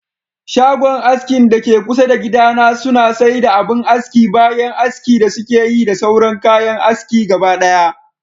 Shagon askin dake kusa da gida na suna saida abin aski bayan aski da sukeyi da sauran kayan aski gabadaya